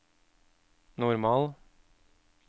normal